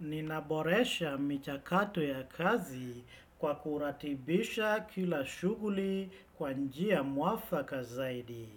Ninaboresha michakato ya kazi kwa kuratibisha kila shughuli kwa njia muafaka zaidi.